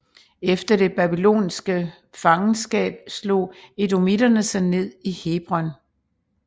Efter det babyloniske fangenskab slog edomitterne sig ned i Hebron